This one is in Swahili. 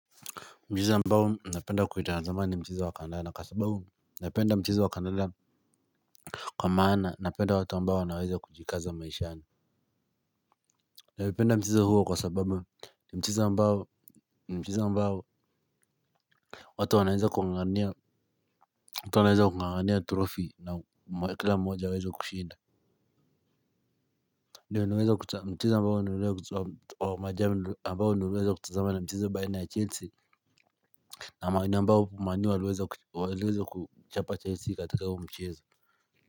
Mchezo ambao napenda kuitazama ni mchezo wa kandanda. Kwa maana napenda watu ambao na wanaweza kujikaza maishani. Navipenda mchezo huo kwa sababu ni mchezo ambao watu wanaweza kungangania trofi na kila mmoja aweza kushinda. Ndiyo mchezo ambao niliweza kutazama ni mchezo baina ya Chelsea Na manu ambao manu waliweza kuchapa Chelsea katika huo mchezo.